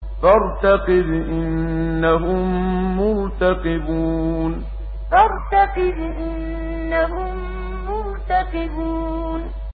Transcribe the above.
فَارْتَقِبْ إِنَّهُم مُّرْتَقِبُونَ فَارْتَقِبْ إِنَّهُم مُّرْتَقِبُونَ